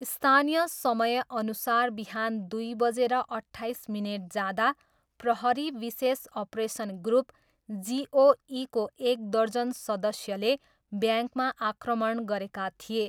स्थानीय समयअनुसार बिहान दुई बजेर अट्ठाइस मिनेट जाँदा प्रहरी विशेष अपरेसन ग्रुप जिओईको एक दर्जन सदस्यले ब्याङ्कमा आक्रमण गरेका थिए।